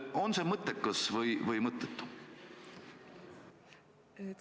On see mõttekas või mõttetu?